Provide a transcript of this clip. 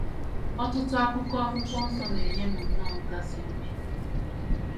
Ọtụtụ akụkụ Akwụkwọ Nsọ na - enye m nnọọ nkasi obi.